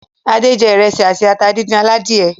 Adé jẹ ìrẹsì àti ata díndín aládìẹ.